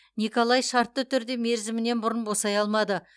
николай шартты түрде мерзімінен бұрын босай алмады